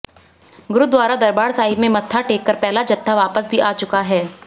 गुरुद्वारा दरबार साहिब में मत्था टेककर पहला जत्था वापस भी आ चुका है